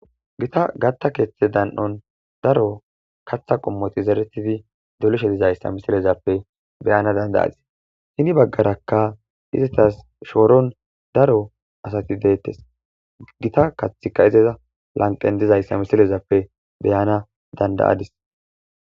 gita gatta keeththe dan7on daro katha qommoti zeretidi dolishe dizayssa misilezappe beyana dandayadis hini baggarakka izitas shooron daro asati deettes gita kathika izeza lanqen dizayssa misilezappe beyana dandayadis